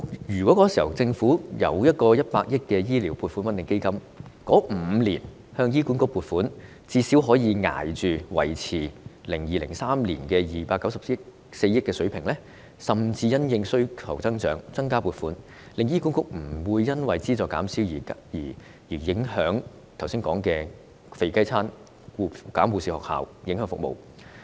如果當時政府成立一個100億元的醫療撥款穩定基金，該5年的醫管局撥款最少可以維持在 2002-2003 年度的294億元水平，甚至因應需求增長而增加撥款，醫管局便不會因資助減少而出現剛才所說的"肥雞餐"和關閉護士學校的情況，從而影響服務。